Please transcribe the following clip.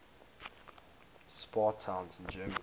spa towns in germany